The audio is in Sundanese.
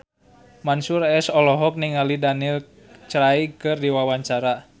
Mansyur S olohok ningali Daniel Craig keur diwawancara